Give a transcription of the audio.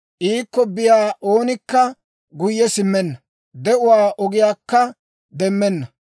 Iikko biyaa oonikka guyye simmenna; de'uwaa ogiyaakka demmenna.